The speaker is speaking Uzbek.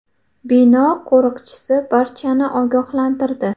Bino qo‘riqchisi barchani ogohlantirdi.